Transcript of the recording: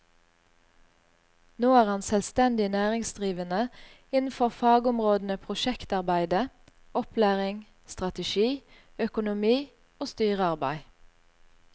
Nå er han selvstendig næringsdrivende innenfor fagområdene prosjektarbeide, opplæring, strategi, økonomi og styrearbeid.